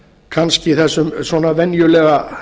kannski þessum svona venjulega